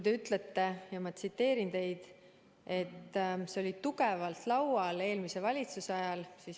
Te ütlesite – ma tsiteerin teid –, et see oli tugevalt laual eelmise valitsuse ajal.